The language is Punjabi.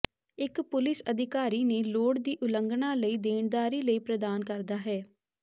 ਇਕ ਪੁਲਿਸ ਅਧਿਕਾਰੀ ਨੇ ਲੋੜ ਦੀ ਉਲੰਘਣਾ ਲਈ ਦੇਣਦਾਰੀ ਲਈ ਪ੍ਰਦਾਨ ਕਰਦਾ ਹੈ